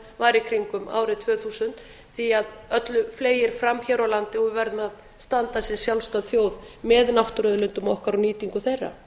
í kringum árið tvö þúsund því að öllu fleygir fram hér á landi og við verðum að standa sem sjálfstæð þjóð með náttúruauðlindum okkar og nýtingu þeirra